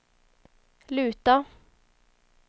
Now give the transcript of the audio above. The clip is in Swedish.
luta